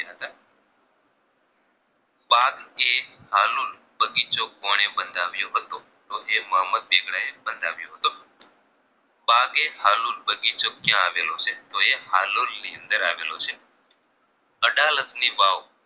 હાલુન બગીચો કોને બંધાવ્યો હતો તો કે મોહમ્મદ બેગડા એ બંધાવ્યો હતો બગેહાલુન બગીચો કયા આવેલો છે તો એ હાલોલ ની અંદર આવેલો છે અડાલજની વાવ